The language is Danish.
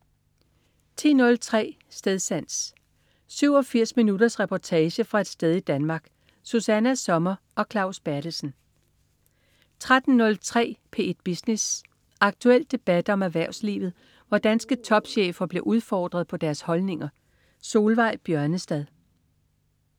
10.03 Stedsans. 87 minutters reportage fra et sted i Danmark. Susanna Sommer og Claus Berthelsen 13.03 P1 Business. Aktuel debat om erhvervslivet, hvor danske topchefer bliver udfordret på deres holdninger. Solveig Bjørnestad